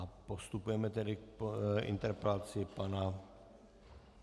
A postupujeme tedy k interpelaci pana...